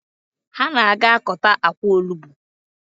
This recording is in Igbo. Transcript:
Ha na-aga akọta akwa onugbu